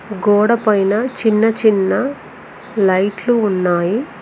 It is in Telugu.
గోడ పైన చిన్నచిన్న లైట్లు ఉన్నాయి.